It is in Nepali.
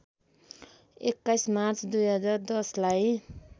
२१ मार्च २०१० लाई